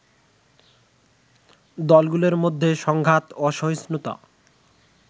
দলগুলোর মধ্যে সংঘাত, অসহিঞ্চুতা